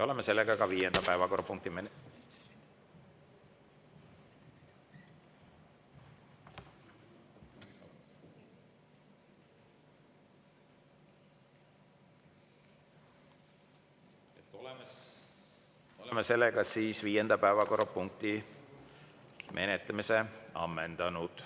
Oleme viienda päevakorrapunkti menetlemise ammendanud.